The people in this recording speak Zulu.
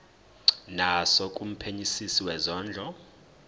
naso kumphenyisisi wezondlo